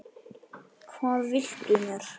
Hvað viltu mér?